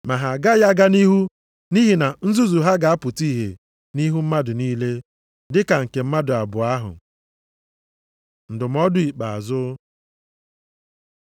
Ma ha agaghị aga nʼihu nʼihi na nzuzu ha ga-apụta ihe nʼihu mmadụ niile, dịka nke mmadụ abụọ ahụ. Ndụmọdụ ikpeazụ